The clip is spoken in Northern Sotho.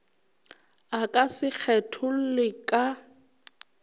a ka se kgetholle ka